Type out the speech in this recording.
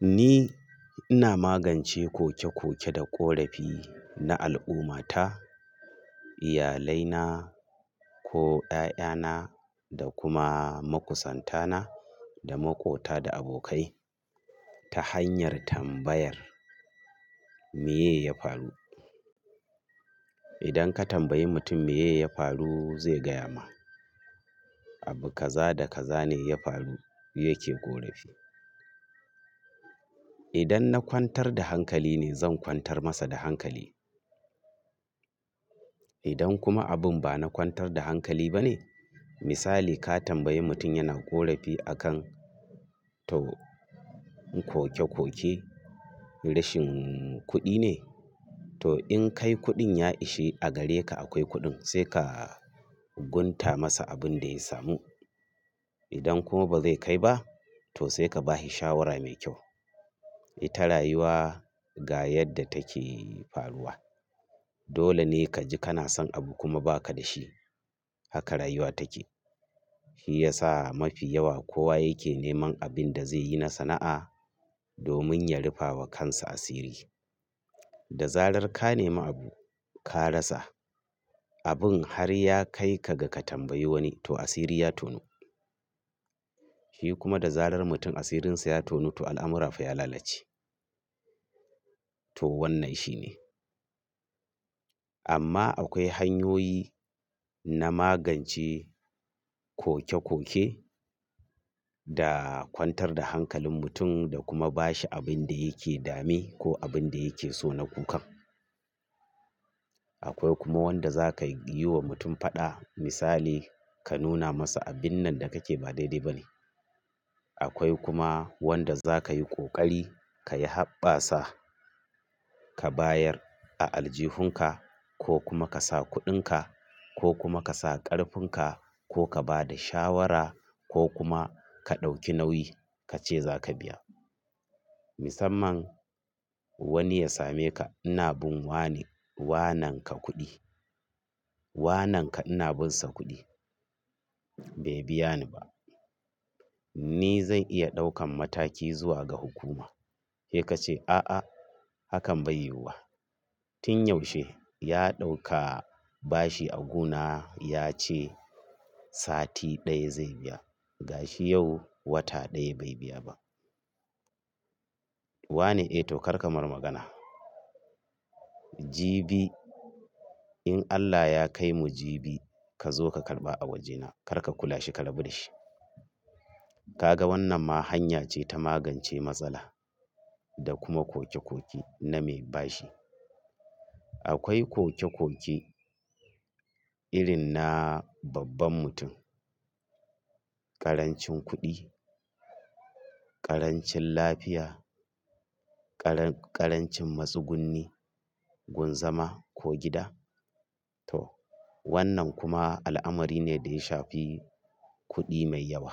Ni ina magance koke-koke da ƙorafi na al'ummata, iyalaina ko 'ya'yana da kuma makusantana da makota da abokai ta hanyar tambayar me ya faru. Idan ka tambayi mutum me ya faru zai gaya ma. Abu kaza da kaza ne ya faru yake ƙorafi. Idan na kwantar da hankali ne zan kwantar masa da hankali. Idan kuma abun ba na kwantar da hankali ba ne, misali ka tambayi mutum yana ƙorafi a kan to koke-koke rashin kuɗi ne, to in kai kuɗin ya ishi a gare ka akwai kuɗin sai ka gunta masa abin da ya samu. Idan kuma ba zai kai ba to sai ka ba shi shawara mai kyau. Ita rayuwa ga yadda take faruwa. Dole ne ka ji kana son abu kuma ba ka da shi haka rayuwa take. Shi ya sa mafi yawa kowa yake neman abin da zai yi na sana'a domin ya rufa wa kansa asiri. Da zarar ka nemi abu ka rasa abun har ya kai ka ga ka tambayi wani to asiri ya tonu. Shi kuma da zarar mutum asirinsa ya tonu to al'amura fa ya lalace. To wannan shine. Amma akwai hanyoyi na magance koke-koke da kwantar da hankalin mutum da kuma ba shi abin da yake dame ko abin da yake so na kukan. Akwai kuma wanda za ka yi wa mutum faɗa misali ka nuna masa abin nan da kake ba daidai ba ne. Akwai kuma wanda za ka yi ƙoƙari ka yi haɓɓa sa ka bayar a aljihunka ko kuma ka sa kuɗinka ko kuma ka sa ƙarfin ka ko ka ba da shawara ko kuma ka ɗauki nauyi ka ce za ka biya. Musamman wani ya same ka ina bin wane wananka kuɗi. Wananka ina bin sa kuɗi bai biya ni ba. Ni zan iya ɗaukan mataki zuwa ga hukuma sai ka ce a'a hakan bai yiwuwa. Tun yaushe ya ɗauka bashi a guna ya ce sati ɗaya zai biya ga shi yau wata ɗaya bai biya ba. Wane? Eh to kar ka marar magana. Jibi in Allah ya kai mu jibi ka zo ka karɓa a wajena kar ka kula shi ka rabu da shi. Ka ga wannan ma hanya ce ta magance matsala da kuma koke-koke na mai bashi. Akwai koke-koke irin na babban mutum, ƙarancin kuɗi, ƙarancin lafiya, ƙaran-ƙarancin matsu gunni, gunzama ko gida. To wannan kuma al'amari ne da ya shafi kuɗi mai yawa.